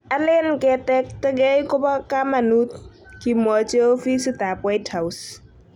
"Alen ketektegei kopo kamanut,"kimwochi ofisit ap White House